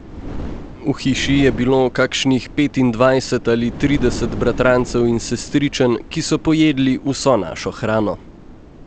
V hiši je bilo kakšnih petindvajset ali trideset bratrancev in sestričen, ki so pojedli vso našo hrano.